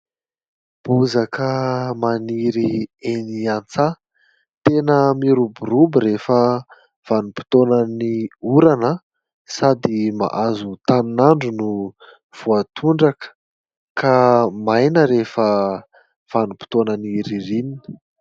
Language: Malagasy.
Bozaka maniry eny an-tsaha tena miroborobo rehefa vanimpotoanan'ny orana sady mahazo tanin'andro no voatondraka ka maina rehefa vanimpotoana ny ririnina